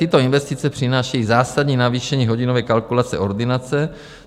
Tyto investice přinášejí zásadní navýšení hodinové kalkulace ordinace.